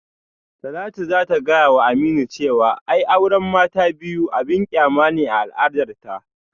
Talatu za ta gayawa Aminu cewa ai auran mata ta biyu abin kyama ne a al'adarta